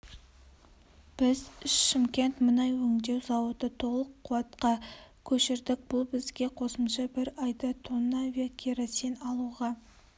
біз шымкент мұнай өңдеу зауыты толық қуатқа көшірдік бұл бізге қосымша бір айда тонна авиакеросин алуға